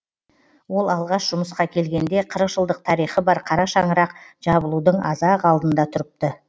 ол алғаш жұмысқа келгенде қырық жылдық тарихы бар қара шаңырақ жабылудың аз ақ алдында тұрыпты